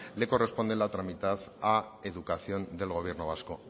le corresponde la otra mitad a educación del gobierno vasco